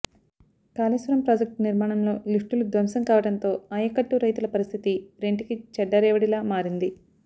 Kaleshwaram project నిర్మాణంలో లిఫ్టులు ధ్వంసం కావడంతో ఆయకట్టు రైతుల పరిస్థితి రెంటికి చెడ్డ రేవడిలా మారింది